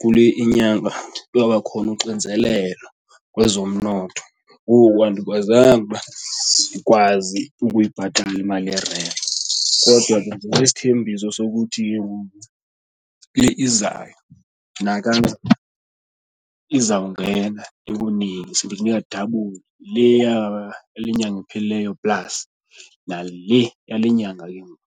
kule inyanga kwaba khona uxinzelelo kwezomnotho. Ngoku andikwazanga uba ndikwazi ukuyibhatala imali yerenti kodwa ke ndikwisithembiso sokuthi ke ngoku kule izayo nakanjani izawungena ndikunike, ndikunike dabuli, le yale nyanga iphelileyo plus nale yale nyanga ke ngoku.